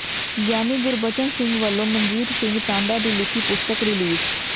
ਗਿਆਨੀ ਗੁਰਬਚਨ ਸਿੰਘ ਵੱਲੋਂ ਮਨਜੀਤ ਸਿੰਘ ਟਾਂਡਾ ਦੀ ਲਿਖੀ ਪੁਸਤਕ ਰਿਲੀਜ਼